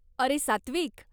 अरे सात्विक!